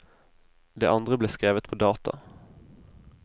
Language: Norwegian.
Det andre ble skrevet på data.